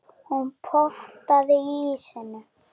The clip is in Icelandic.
Hún potaði í ísinn.